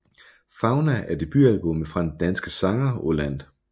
Fauna er debutalbummet fra den danske sanger Oh Land